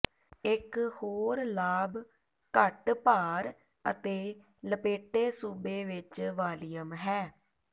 ਇੱਕ ਹੋਰ ਲਾਭ ਘੱਟ ਭਾਰ ਅਤੇ ਲਪੇਟੇ ਸੂਬੇ ਵਿਚ ਵਾਲੀਅਮ ਹੈ